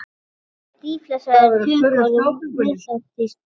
Orðið dýflissa er tökuorð úr miðlágþýsku.